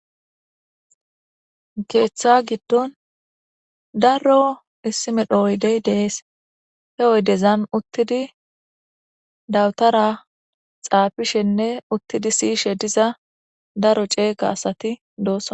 Keeththa giddon daro issi medho oydey dees he oydezan uttidi dawutara xaafishenne uttidi siyishe diza daro ceega asati doossa.